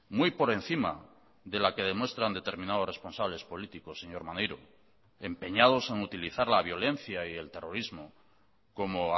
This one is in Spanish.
muy por encima de la que demuestran determinados responsables políticos señor maneiro empeñados en utilizar la violencia y el terrorismo como